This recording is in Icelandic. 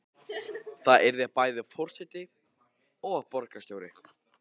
Þú yrðir bæði forseti og borgarstjóri?